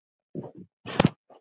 Eddu fallast hendur.